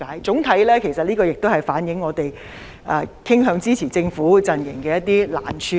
總的來說，其實這亦反映我們傾向支持政府的陣營的難處。